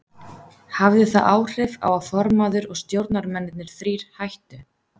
Hafði það áhrif á að formaður og stjórnarmennirnir þrír hættu?